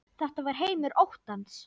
Þetta var heimur óttans.